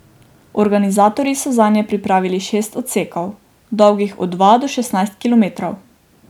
Organizatorji so zanje pripravili šest odsekov, dolgih od dva do šestnajst kilometrov.